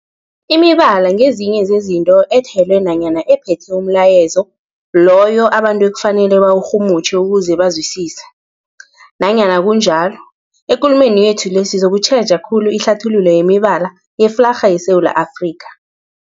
Imibala ngezinye zezinto ethelwe nanyana ephethe umlayezo loyo abantu ekufanele bawurhumutjhe ukuze bawuzwisise. Nanyana kunjalo, ekulumeni yethu le sizokutjheja khulu ihlathululo yemibala yeflarha yeSewula Afrika.